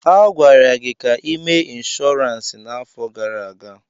A gwara gị ka ị mee inshọransi n'afọ gara aga.